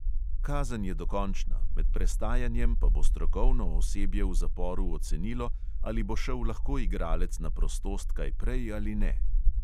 Kazen je dokončna, med prestajanjem pa bo strokovno osebje v zaporu ocenilo, ali bo šel lahko igralec na prostost kaj prej ali ne.